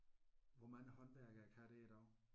Hvor mange håndværkere kan det i dag?